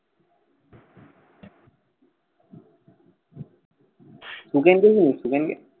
সুখেনকে চিনিস সুখেনকে?